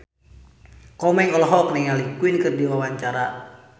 Komeng olohok ningali Queen keur diwawancara